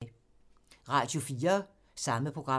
Radio 4